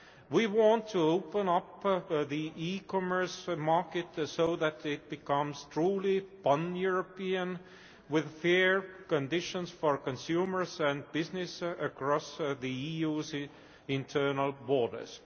We want to open up the e commerce market so that it becomes truly pan European, with fair conditions for consumers and business across the EU's internal borders.